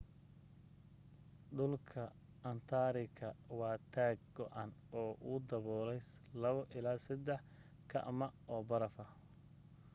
dhulka antaartika waa taag go'an oo uu dabuulay 2-3 km oo barafa